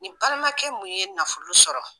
Ni balimakɛ mun ye nafolo sɔrɔ